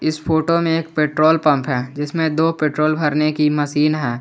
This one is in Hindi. इस फोटो में एक पेट्रोल पंप है जिसमें दो पेट्रोल भरने की मशीन है।